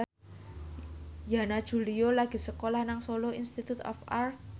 Yana Julio lagi sekolah nang Solo Institute of Art